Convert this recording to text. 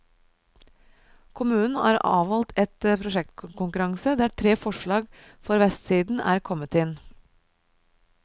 Kommunen har avholdt en prosjektkonkurranse der tre forslag for vestsiden er kommet inn.